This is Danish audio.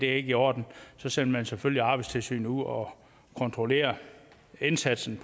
er i orden så sender man selvfølgelig også arbejdstilsynet ud og kontrollerer indsatsen